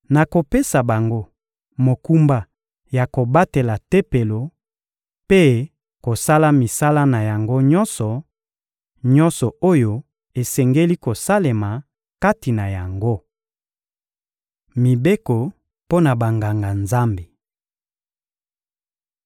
Nakopesa bango mokumba ya kobatela Tempelo mpe kosala misala na yango nyonso, nyonso oyo esengeli kosalema kati na yango. Mibeko mpo na Banganga-Nzambe